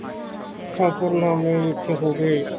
ਜ਼ਫ਼ਰਨਾਮੇ ਵਿਚ ਹੋਵੇ